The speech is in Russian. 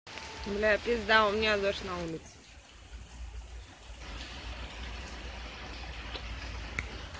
бля пизда у меня дождь на улице